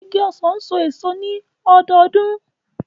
Igi ọsan n so eso ni lọdọọdun.